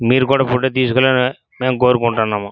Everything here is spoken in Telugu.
మీరు కూడా ఫోటో తీసుకునాలే లా మేము కోరుకుంటున్నాము.